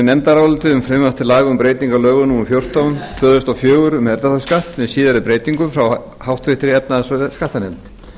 laga um breytingu á lögum númer fjórtán tvö þúsund og fjögur um erfðafjárskatt með síðari breytingum frá háttvirtri efnahags og skattanefnd